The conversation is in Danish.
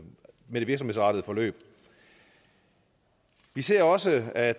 det virksomhedsrettede forløb vi ser også at